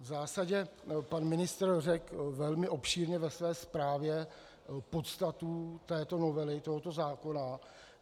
V zásadě pan ministr řekl velmi obšírně ve své zprávě podstatu této novely tohoto zákona.